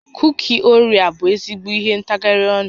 Kuki Orea bụ ezigbo ihe ntagharị ọnụ